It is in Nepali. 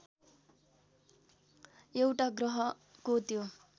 एउटा ग्रहको त्यो